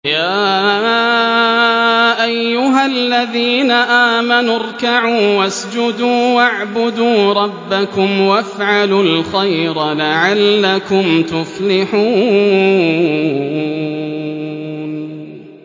يَا أَيُّهَا الَّذِينَ آمَنُوا ارْكَعُوا وَاسْجُدُوا وَاعْبُدُوا رَبَّكُمْ وَافْعَلُوا الْخَيْرَ لَعَلَّكُمْ تُفْلِحُونَ ۩